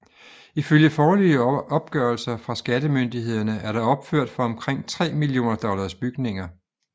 Ifølge foreløbige opgørelser fra skattemyndighederne er der opført for omkring 3 millioner dollars bygninger